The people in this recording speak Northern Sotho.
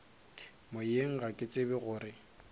moyeng ga ke tsebe gore